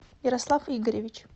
ярослав игоревич